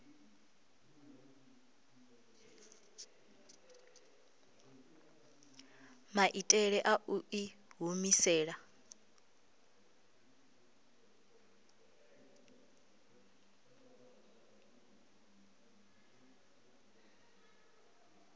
maitele a u i humisela